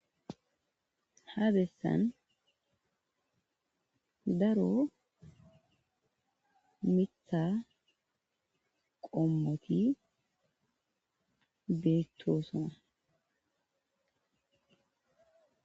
Ha besan daro Mitha qomoti betosona